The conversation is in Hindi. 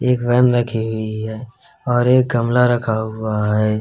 एक वैन रखी हुई है और एक गमला रखा हुआ है।